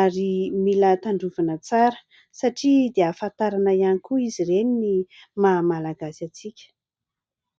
ary mila tandrovana tsara satria dia hafantarana ihany koa izy ireny ny maha malagasy antsika.